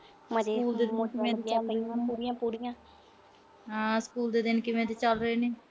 ਹਾਂ ਸਕੂਲ ਦੇ ਦਿਨ ਕਿਵੇਂ ਦੇ ਚਲ ਰਹੇ ਨੇ